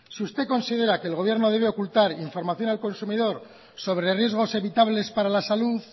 si usted considera que el gobierno debe ocultar información al consumidor sobre riesgos evitables para la salud